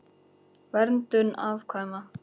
Verndun afkvæma